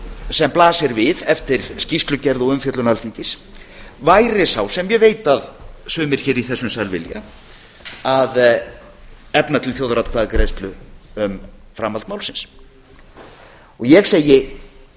sem blasir við eftir skýrslugerð og umfjöllun alþingis væri sá sem ég veit að sumir í þessum sal vilja að efna til þjóðaratkvæðagreiðslu um framahdl málsins og ég segi